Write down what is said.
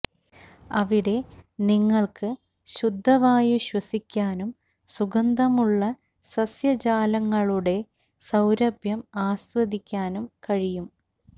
അവിടെ നിങ്ങൾക്ക് ശുദ്ധവായു ശ്വസിക്കാനും സുഗന്ധമുള്ള സസ്യജാലങ്ങളുടെ സൌരഭ്യം ആസ്വദിക്കാനും കഴിയും